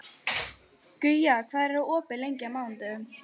Guja, hvað er opið lengi á mánudaginn?